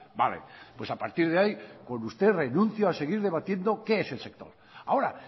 vale pues a partir de ahí con usted renunció a seguir debatiendo qué es el sector ahora